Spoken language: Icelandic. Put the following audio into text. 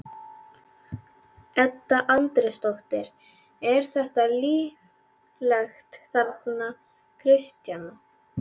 Edda Andrésdóttir: Er ekki líflegt þarna Kristjana?